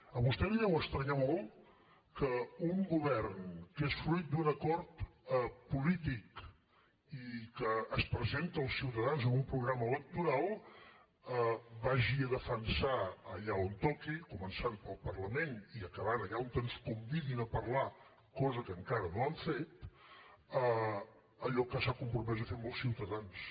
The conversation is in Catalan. a vostè li deu estranyar molt que un govern que és fruit d’un acord polític i que es presenta als ciutadans amb un programa electoral vagi a defensar allà on toqui començant pel parlament i acabant allà on ens convidin a parlar cosa que encara no han fet allò que s’ha compromès a fer amb els ciutadans